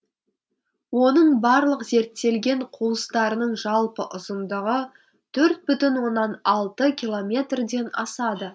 оның барлық зерттелген қуыстарының жалпы ұзындығы төрт бүтін оннан алты километрден асады